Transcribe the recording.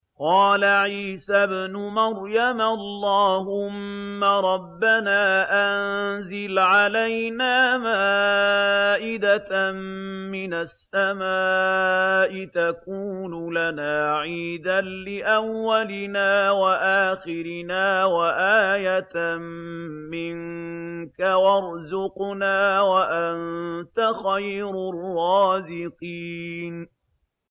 قَالَ عِيسَى ابْنُ مَرْيَمَ اللَّهُمَّ رَبَّنَا أَنزِلْ عَلَيْنَا مَائِدَةً مِّنَ السَّمَاءِ تَكُونُ لَنَا عِيدًا لِّأَوَّلِنَا وَآخِرِنَا وَآيَةً مِّنكَ ۖ وَارْزُقْنَا وَأَنتَ خَيْرُ الرَّازِقِينَ